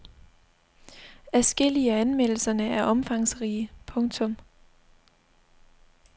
Adskillige af anmeldelserne er omfangsrige. punktum